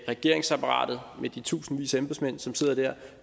regeringsapparatet med de tusindvis af embedsmænd som sidder der